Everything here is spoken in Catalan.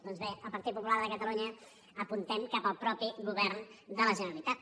doncs bé el partit popular de catalunya apuntem cap al mateix govern de la generalitat